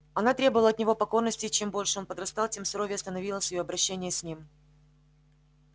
она требовала от него покорности и чем больше он подрастал тем суровее становилось её обращение с ним